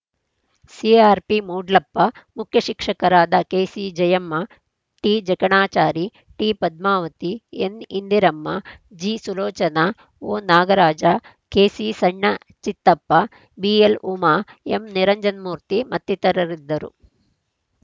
CRP Moodlappa ಮುಖ್ಯಶಿಕ್ಷಕರಾದ ಕೆಸಿಜಯಮ್ಮ ಟಿಜಕಣಾಚಾರಿ ಟಿಪದ್ಮಾವತಿ ಎನ್‌ಇಂದಿರಮ್ಮ ಜಿಸುಲೋಚನಾ ಒನಾಗರಾಜ KC ಸಣ್ಣ Chittappa B L Uma M Niranjan ಮೂರ್ತಿ ಮತ್ತಿತರರಿದ್ದರು